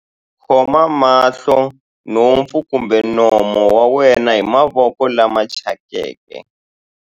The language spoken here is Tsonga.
Khoma mahlo, nhompfu kumbe nomo wa wena hi mavoko lama thyakeke.